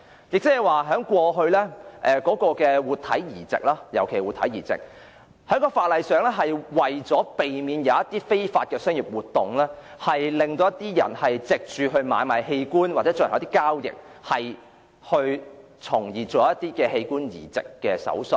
就過去的活體移植而言，這種限制的目的是為了在法律上避免非法商業活動，或有人為販賣器官或進行器官交易而進行器官移植手術。